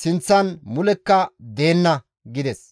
guye mulekka deenna» gides.